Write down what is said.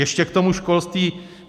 Ještě k tomu školství.